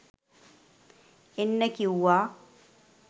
එන්න කීවා